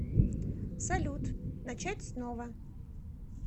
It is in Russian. салют начать снова